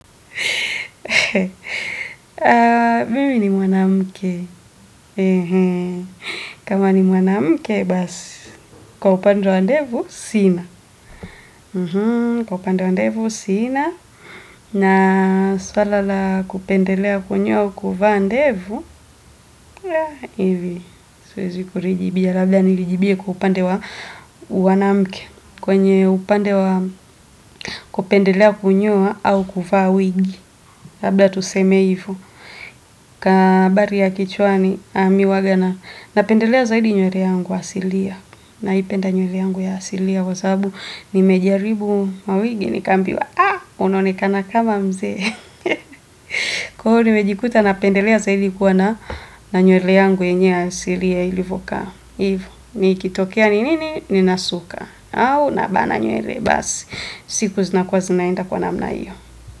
Mimi ni mwanamke. Kama ni mwanamke basi. Kwa upande wa ndevu, sina. Kwa upande wa ndevu, sina. Na suala la kupendelea kwenyewe kuvaa ndevu. Ivi, siwezi kurijibia. Labda nilijibie kwa upande wa uwanamuke. Kwenye upande wa kupendelea kunyoa au kuvaa wigi. Labda tuseme hivo. Kabari ya kichwani miuwaga na, napendelea zaidi nywele yangu ya hasilia na ipenda nywele yangu ya hasilia kwa sababu nimejaribu mawigi nikaambiwa, ah, unaonekana kama mzee kwa hio nimejikuta napendelea zaidi kuwa na nywele yangu yenyewe ya hasilia ilivokaa, hivo, nikitokea ninini, ninasuka au nabana nywele, basi siku zina kuwa zinaenda kwa namna hiyo.